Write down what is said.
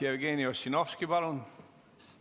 Jevgeni Ossinovski, palun!